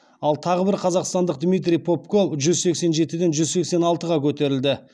ал тағы бір қазақстандық дмитрий попко жүз сексен жетіден жүз сексен алтыға көтерілді